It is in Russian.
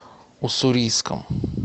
уссурийском